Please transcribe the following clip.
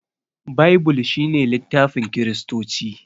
Baibul shine littafin kiristoci